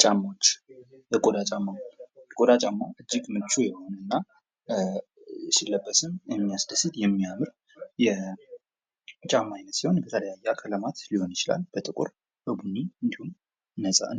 ጫማዎች ። የቆዳ ጫማ፡ የቆዳ ጫማ እጅግ ምቹ የሆነ እና ሲለበስም የሚያስደስት የሚያምር የጫማ አይነት ሲሆን የተለያየ አይነት ቀለማት ሊሆን ይችላል በጥቁር በቡና እንዲሁም